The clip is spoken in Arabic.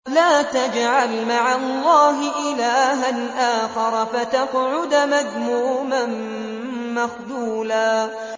لَّا تَجْعَلْ مَعَ اللَّهِ إِلَٰهًا آخَرَ فَتَقْعُدَ مَذْمُومًا مَّخْذُولًا